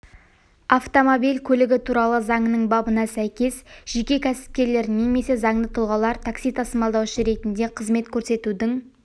автомобиль көлігі туралы заңының бабына сәйкес жеке кәсіпкерлер немесе заңды тұлғалар такси тасымалдаушы ретінде қызмет көрсетудің